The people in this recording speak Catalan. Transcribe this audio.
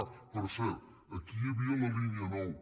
ah per cert aquí hi havia la línia nou